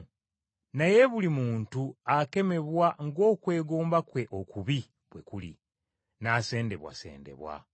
Naye buli muntu akemebwa ng’okwegomba kwe okubi, bwe kuli, n’asendebwasendebwa.